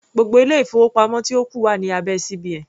Gbogbo ilé-ìfowópamọ́ tí ó kù wà ní abẹ́ CBN.